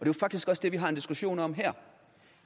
jo faktisk også det vi har en diskussion om her